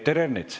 Peeter Ernits.